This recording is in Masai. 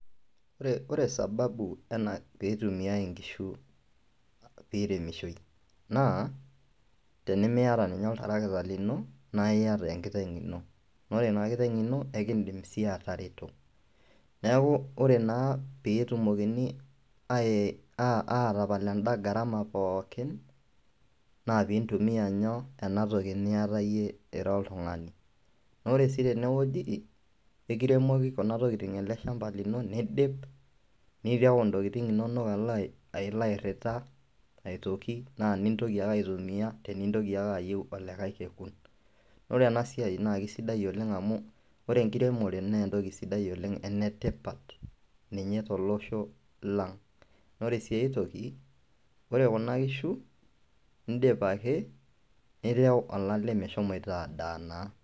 Ore ore sababu ena piitumiai inkishu piiremishoi naa tenimiata ninye oltarakita lino naa iyata enkiteng' ino naa ore ina kiteng' ino kekiindim sii atareto. Neeku ore naa peyie etumokini aye aa aatapal enda gharama pookin naa piintumia nyoo ena toki niyata iyie ira oltung'ani. Naa ore sii tene wueji ekiremoki kuna kokitin ele shamba lino niidip nire ntokitin inonok alo ai alo airira aitoki naa nintoki ake aitumia tenintoki ake ayeu olikai kekun. Ore ena siai naake sidai oleng' amu ore enkiremore nee entoki sidai oleng', ene tipat ninye tolosho lang'. Naa ore sii ai toki, ore kuna kishu iindip ake nireu olale meshomoita adaa naa.